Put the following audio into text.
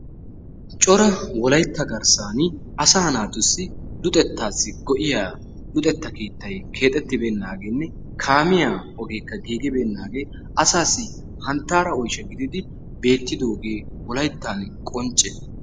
cora wollaytta garssaan asaa naatussi luxettaassi go"iyaa lexettaa keettay keexxeetibenagenne kaamiyaa ogee giigibenaagee asaassi hanttaara oyshsha giididi beettidoogee qoncce.